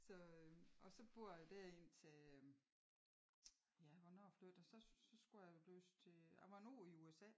Så og så bor a der indtil ja hvornår flytter så så skulle jeg læse til a var en år i USA